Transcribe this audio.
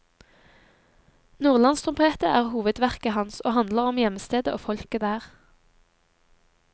Nordlands trompet er hovedverket hans, og handler om hjemstedet og folket der.